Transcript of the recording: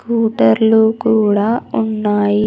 స్కూటర్లు కూడా ఉన్నాయి.